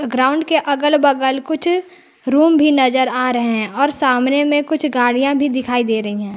Ground के अगल बगल कुछ रूम भी नजर आ रहे हैं और सामने में कुछ गाड़ियां भी दिखाई दे रही हैं।